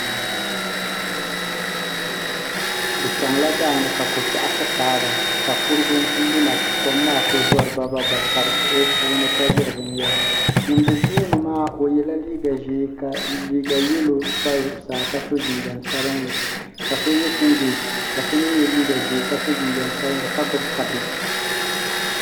Bi chaŋla daani ka kokpeɣu ti paaba sakurugu n kuli luna ka kom maa kuli zori ba ba bab ka bɛ siɣi o puuni ka ʒiri binyera ŋun be tooni maa o yela liiga ʒee ka liiga yelo pa zuɣusaa ka so jinjiɛm sabinli ka so ye singileti so mee ye liiga ʒee ka so jinjiɛm sabinli ka gbibi kabagi.